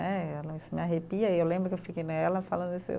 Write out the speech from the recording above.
Eh, isso me arrepia e eu lembro que eu fiquei né ela falando isso.